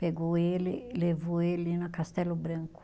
Pegou ele, levou ele na Castelo Branco.